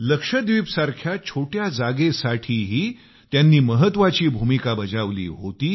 लक्षद्वीपसारख्या छोट्या जागेसाठीही त्यांनी महत्वाची भूमिका बजावली होती